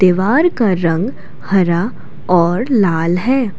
वार का रंग हरा और लाल है।